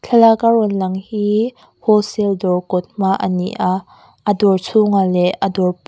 thlalak a rawn lang hii wholesale dawr kawt hma a ni a a dawr chhungah leh a dawr--